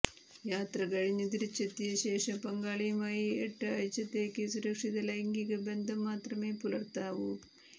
യാത്രകഴിഞ്ഞ് തിരിച്ചെത്തിയശേഷം പങ്കാളിയുമായി എട്ട് ആഴ്ചത്തേക്ക് സുരക്ഷിത ലൈംഗികബന്ധം മാത്രമേ പുലര്ത്താവൂ